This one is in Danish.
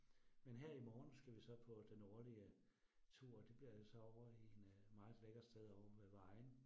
Men her i morgen skal vi så på den årlige tur det bliver så over i en meget lækkert sted ovre ved Vejen